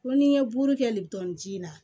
Ko ni ye buru kɛ le ji in na